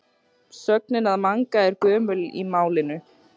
sögnin að manga er gömul í málinu